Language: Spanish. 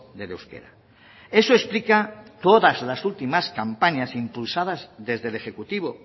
del euskera eso explica todas las últimas campañas impulsadas desde el ejecutivo